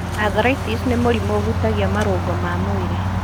Arthritis nĩ mũrimũ ũhutagia marũngo ma mwĩrĩ.